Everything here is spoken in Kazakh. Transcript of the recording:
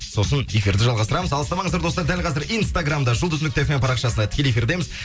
сосын эфирді жалғастырамыз алыстамаңыздар достар дәл қазір инстаграмда жұлдыз нүкте фм парақшасында тікелей эфирдеміз